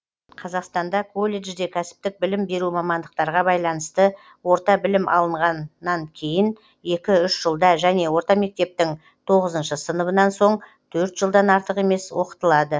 қазақстанда колледжде кәсіптік білім беру мамандықтарға байланысты орта білім алынғаннан кейін екі үш жылда және орта мектептің тоғыз сыныбынан соң төрт жылдан артық емес оқытылады